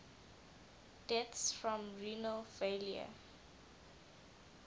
deaths from renal failure